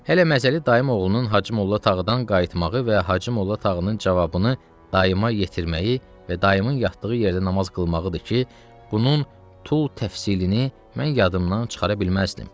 Hələ məzəli dayım oğlunun Hacımolla Tağıdan qayıtmağı və Hacımolla Tağının cavabını dayıma yetirməyi və dayımın yatdığı yerdə namaz qılmağıdır ki, bunun tül təfsirini mən yadımdan çıxara bilməzdim.